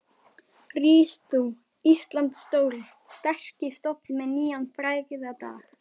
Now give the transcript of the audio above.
Rís þú, Íslands stóri, sterki stofn með nýjan frægðardag.